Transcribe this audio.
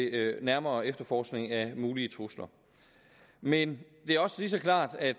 nærmere efterforskning af mulige trusler men det er også lige så klart at